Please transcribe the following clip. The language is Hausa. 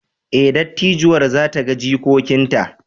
Ee, dattijuwar za ta ga jikokinta!